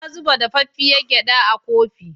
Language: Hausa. Na zuba dafaffiar gyaɗa a kofi.